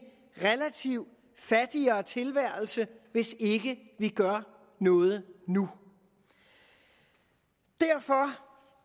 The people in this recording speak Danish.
relativt fattigere tilværelse hvis ikke vi gør noget nu derfor